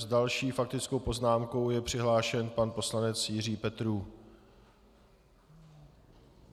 S další faktickou poznámkou je přihlášen pan poslanec Jiří Petrů.